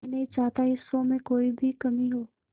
मैं नहीं चाहता इस शो में कोई भी कमी हो